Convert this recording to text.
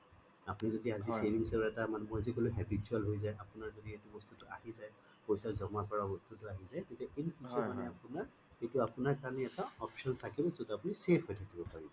আপুনি যদি আজি savings ৰ এটা মই যে কলো habitual হৈ যায় আপোনাৰ যদি এইটো বস্তুটো আহি যায় পইছা জমা কৰা বস্তুটো আহি যায় তেতিয়া in future আপোনাৰ কাৰণে এটা option থাকে যত আপুনি safe হৈ থাকিব পাৰিব